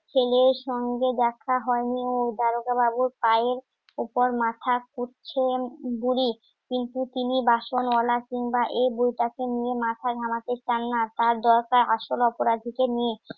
ছেলের সঙ্গে দেখা হয়নি দারোগা বাবুর পায়ের উপর মাথা বুড়ি কিন্তু তিনি বাসন মালা কিনবা এই তাকে নিয়ে মাথা ঘামাতে চান না তার দরকার আসল অপরাধীকে নিয়ে